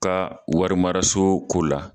Ka warimaraso ko la